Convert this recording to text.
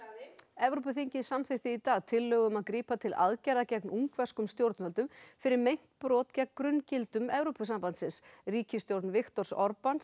Evrópuþingið samþykkti í dag tillögu um að grípa til aðgerða gegn ungverskum stjórnvöldum fyrir meint brot gegn grunngildum Evrópusambandsins ríkisstjórn Viktors